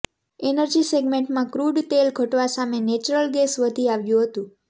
energy સેગમેન્ટમાં crude તેલ ઘટવા સામે નેચરલ ગેસ વધી આવ્યું હતું